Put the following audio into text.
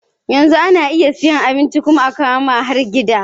Yanzu ana iya siyan abinci kuma akawu ma har gida